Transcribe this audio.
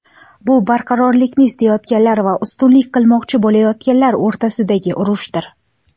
Bu barqarorlikni istayotganlar va ustunlik qilmoqchi bo‘layotganlar o‘rtasidagi urushdir.